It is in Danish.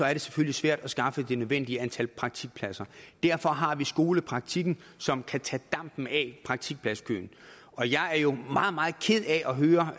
er det selvfølgelig svært at skaffe det nødvendige antal praktikpladser derfor har vi skolepraktikken som kan tage dampen af praktikpladskøen jeg er jo meget meget ked af at høre